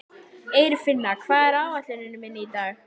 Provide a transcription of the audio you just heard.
Eirfinna, hvað er á áætluninni minni í dag?